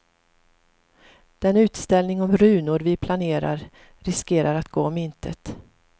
Den utställning om runor vi planerar riskerar att gå om intet.